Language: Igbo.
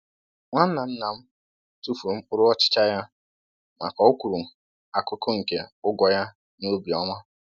Nwanna nna m tufuru mkpụrụ ọchịcha ya ma ka o kwụrụ akụkụ nke ụgwọ ya n’obi ọma